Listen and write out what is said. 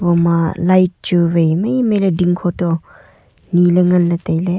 ama light chuwai maimai ley dingkho to niley nganley tailey.